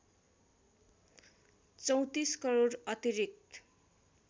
३४ करोड अतिरिक्त